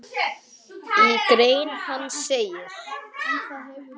Já, en hann er veikur